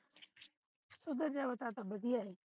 ਉਧਰ ਜਾਵੇ ਤਦ ਤੇ ਵਧੀਆ ਏਹੇ